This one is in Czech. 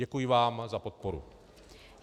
Děkuji vám za podporu.